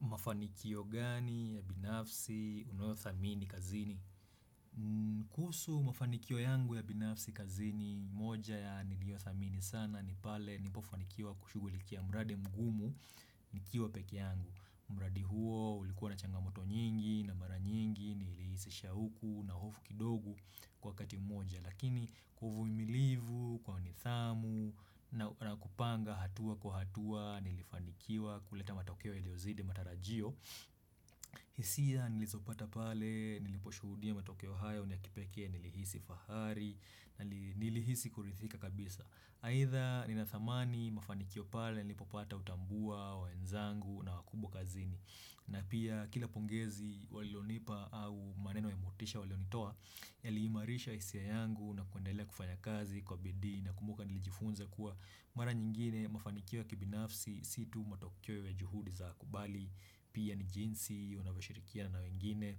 Mafanikio gani ya binafsi unayo thamini kazini? Kuhusu mafanikio yangu ya binafsi kazini moja ya nilio thamini sana ni pale nipofanikiwa kushugulikia mradi mgumu nikiwa pekee yangu. Mradi huo ulikuwa na changamoto nyingi na mara nyingi nilihisi shauku na hofu kidogo kwa wakati mmoja. Lakini uvumilivu kwa nidhamu na kupanga hatua kwa hatua nilifanikiwa kuleta matokeo iliozide matarajio. Hisia nilizopata pale niliposhudia matokeo haya unia kipekee nilihisi fahari na nilihisi kurithika kabisa. Aida ninathamani mafanikio pale nilipopata utambua, wenzangu na wakubwa kazini. Na pia kila pongezi walionipa au maneno ya motisha walionitoa Yali imarisha hisia yangu na kuendelea kufanya kazi kwa bidii na kumbuka nilijifunza kuwa Mara nyingine mafanikiwa kibinafsi situ matokeo ya juhudi za kubali Pia ni jinsi unawe shirikia na wengine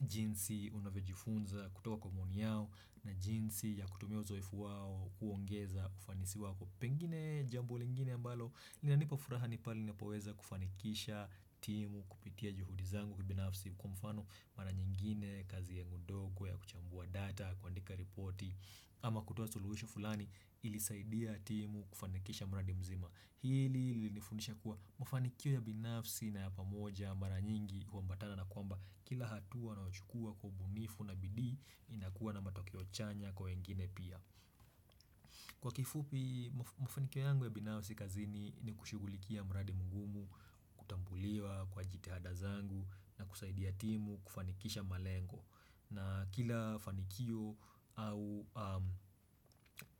jinsi unavyo jifunza kutoka kwa maoni yao na jinsi ya kutumia uzoefu wao kuongeza kufanisi wako Pengine jambo lingine ambalo, lina nipa furaha nipali napaweza kufanikisha timu kupitia juhudi zangu kubinafsi kwa mfano mara nyingine, kazi yangu ndogo ya kuchambua data, kuandika reporti, ama kutoa suluhisho fulani ilisaidia timu kufanikisha mra dimzima. Hili ilinifundisha kuwa mfanikio ya binafsi na yapamoja mara nyingi kwa huambatana na kwamba kila hatua na unochukua kwa ubunifu na bidii inakuwa na matokio chanya kwa wengine pia. Kwa kifupi, mafanikio yangu ya binafsi kazini ni kushughulikia mradi mungumu, kutambuliwa, kwa jitehada zangu, na kusaidia timu, kufanikisha malengo. Na kila fanikio au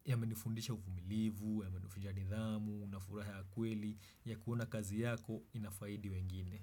yamenifundisha uvumilivu, yamenifundisha nidhamu, na furaha ya kweli, ya kuona kazi yako inafaidi wengine.